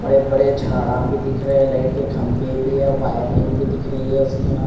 बड़े बड़े जाड़ा भी दिखरे लाइट के खम्बे भी है वायरिंग भी दिख रही है उसकी यहाँ--